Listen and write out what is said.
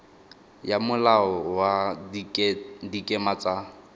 ya molao wa dikema tsa